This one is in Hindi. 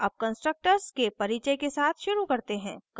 अब constructors के परिचय के साथ शुरू करते हैं